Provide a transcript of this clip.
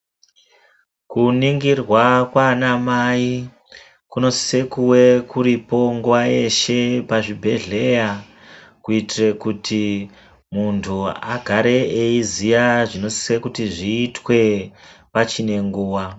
Kunongirwa kwaana mai kunosise kunge kuripo nenguwa dzeshe pachibhedhlera kuitire kuti munhu aziye zvinosise kuitwa pachinenguwa.